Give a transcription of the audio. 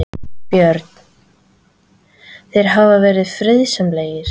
Björn: Þeir hafa verið friðsamlegir?